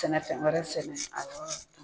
Sɛnɛ fɛn wɛrɛ sɛnɛ a yɔrɔ